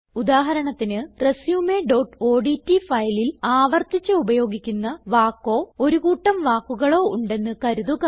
ഉദാഹരണത്തിന് resumeഓഡ്റ്റ് ഫയലിൽ ആവർത്തിച്ച് ഉപയോഗിക്കുന്ന വാക്കോ ഒരു കൂട്ടം വാക്കുകളോ ഉണ്ടെന്ന് കരുതുക